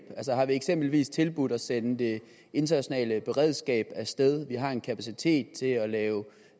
har vi eksempelvis tilbudt at sende det internationale beredskab af sted vi har en kapacitet til at lave